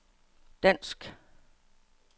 dansk